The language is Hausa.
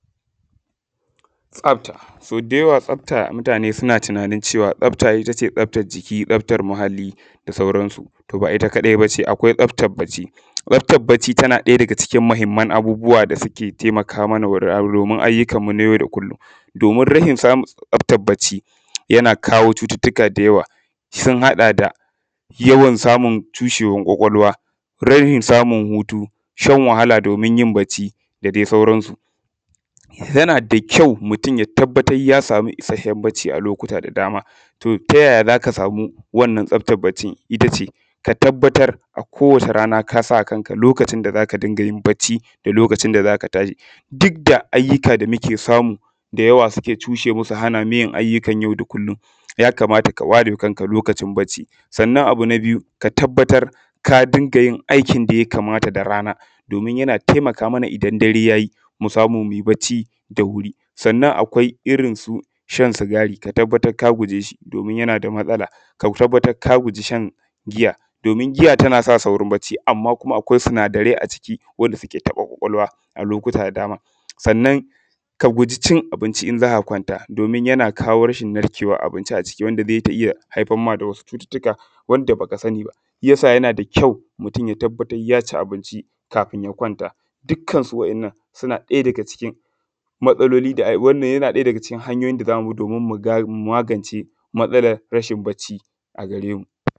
Tsafta so dayawa mutane suna tunanin tsafta ittace tsaftan jiki, tsaftar muhalli da dai sauran su. To ba itta kaɗai bace akwai tsaftan bacci, tsaftan bacci tana ɗaya daga cikin mahimman abubuwa da suke taimaka mana domin ayukan mu na yau da kullum domin rashin samun tsaftan bacci yana kawo cututtuka da yawa. Sun haɗa da yawan samun tsushewan kwakwalwa, rashin samun hutu da shan wahala domin yin bacci da dai sauran su. yanada kyau mutun ya tabbatar ya samu isashshen bacci a lokuta da dama, ta yaya zaka samu wannan tsaftan baccin ittace ka tabbatar a kowace rana kasawa kanka lokacin da zaka dingayin bacci da lokacin da zaka dunga tashi dukda ayyuka da muke samu da yawa suke cushemu su hanamu yin ayyukan yau da kullum, ya kamata ka warewa kanka lokacin yin bacci. Sannan abu na biyu ka tabbatar ka dungayin aikin da yakamata da rana, domin yana taimaka mana idan dare yayi mu samu muyi bacci da wuri. Sannan akwai irrinsu shan sigari ka tabbatar ka gujeshi domin yanada matsala, ka tabbatar ka guji shan jiya domin giya tana sa saurin bacci amma kuma akwai sinadarai wanda suke taɓa kwakwalwa a lokuta da. Sannan ka gujicin abinci in zaka kwanta domin yana kawo rashin narkewan abinci a ciki wanda zai iyya haifar da wasu cututtuka wanda baka saniba. Shiyasa yanada kyau mutun ya tabbatar yaci abinci kafin ya kwanta. Dukkan su waɗannan yana ɗaya daga cikin matsaloli, hanyoyi da zamubi domin mugance matsalan rashin bacci a garemu